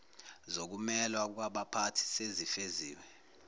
zokumelwa kwabaphathi sezifeziwe